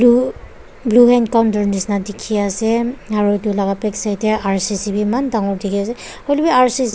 etu blue hand counter nisna dikhi ase aru etu laga backside teh R_C_C bhi eman dangor dikhi ase hoile bhi R_C_C--